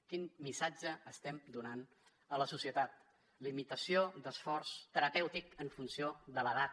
quin missatge estem donant a la societat limitació d’esforç terapèutic en funció de l’edat